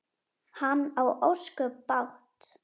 Hann á ósköp bágt.